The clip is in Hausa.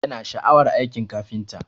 Yana da sha'awar aikin kafinta